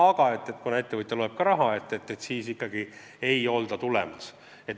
Aga kuna ettevõtja loeb ka raha, siis ikkagi ei olda tulemas.